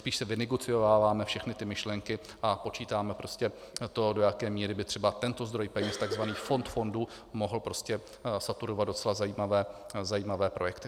Spíš si vynegociováváme všechny ty myšlenky a počítáme prostě to, do jaké míry by třeba tento zdroj peněz, takzvaný fond fondů, mohl prostě saturovat docela zajímavé projekty.